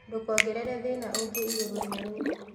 Ndũkongerere thĩna ũngĩ igũrũ ria ruo